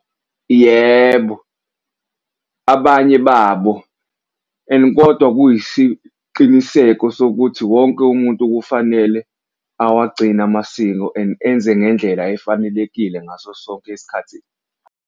Yebo, abanye babo and kodwa kuyisiqiniseko sokuthi wonke umuntu kufanele awagcine amasiko and enze ngendlela efanelekile ngaso sonke isikhathi.